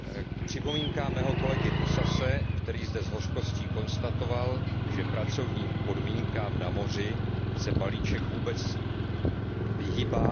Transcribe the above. K připomínkám mého kolegy Toussase, který zde s hořkostí konstatoval, že pracovním podmínkám na moři se balíček vůbec vyhýbá.